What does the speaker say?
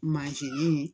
Mansin